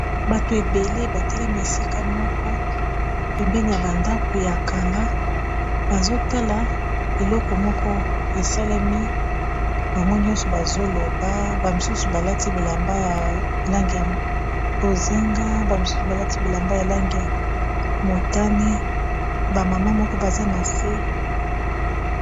Bato ebele batelemi esika moko pembeni ya ba ndaku ya kala bazotala eloko esalemi bango, nyonso bazoloba ba misusu balati bilamba ya langi ya bozinga ba misusu balati bilamba ya langi ya motane ba mama moko baza na se.